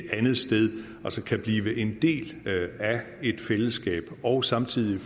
andet sted kan blive en del af et fællesskab og samtidig